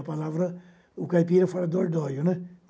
A palavra... O caipira fala dordóio, né?